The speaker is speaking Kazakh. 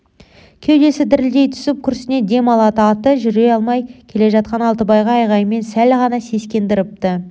кеудесі дірілдей түсіп күрсіне дем алады аты жүре алмай келе жатқан алтыбай айғайымен сәл ғана сескендіріпті